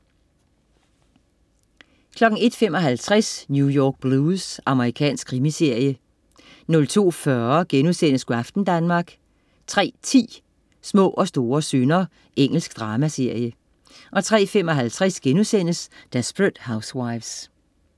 01.55 New York Blues. Amerikansk krimiserie 02.40 Go' aften Danmark* 03.10 Små og store synder. Engelsk dramaserie 03.55 Desperate Housewives*